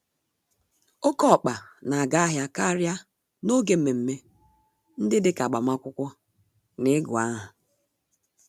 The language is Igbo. Oké ọkpa n'aga ahịa karịa n'oge mmeme ndị dịka agbamakwụkwọ, na igụ-áhà.